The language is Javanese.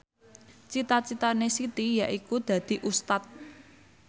cita citane Siti yaiku dadi Ustad